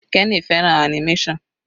Kenny fẹ́ràn animation.